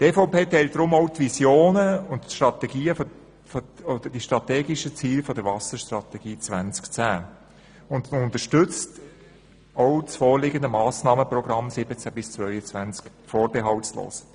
Die EVP teilt deshalb auch die Visionen und strategischen Ziele der Wasserstrategie 2010 und unterstützt das vorliegende Massnahmenprogramm 2017í2022 vorbehaltlos.